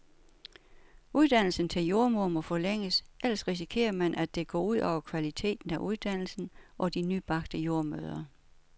Uddannelsen til jordemoder må forlænges, ellers risikerer man, at det går ud over kvaliteten af uddannelsen og de nybagte jordemødre.